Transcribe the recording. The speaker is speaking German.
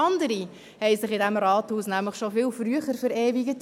Andere hatten sich nämlich in diesem Rathaus schon viel früher verewigt: